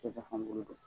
Cɛ fankelen don